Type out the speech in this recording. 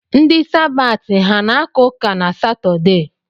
Ndi Sabaati, ha ana-aka ụka na Satọde?